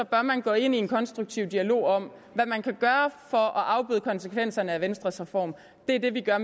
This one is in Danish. bør man gå ind i en konstruktiv dialog om hvad man kan gøre for at afbøde konsekvenserne af venstres reform det er det vi gør